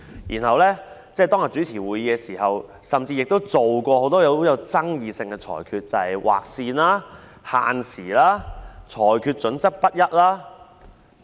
然後，主席在當天主持會議時，亦作出了很多極富爭議性的裁決，例如"劃線"、限時和裁決準則不一等。